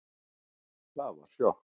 Það var sjokk